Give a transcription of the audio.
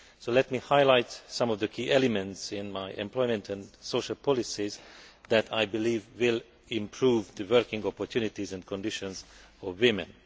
Let me highlight some of the key elements in my employment and social policies that I believe will improve working opportunities and conditions for women.